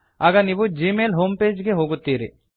ಆಗ ನೀವು Gmail home page ಗೆ ಹೋಗುತ್ತೀರಿ